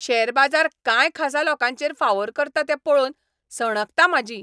Share बाजार कांय खासा लोकांचेर फावोर करता तें पळोवन सणकता म्हाजी.